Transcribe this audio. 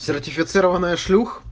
сертифицированная шлюх